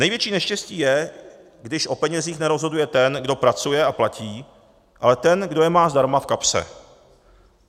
Největší neštěstí je, když o penězích nerozhoduje ten, kdo pracuje a platí, ale ten, kdo je má zdarma v kapse.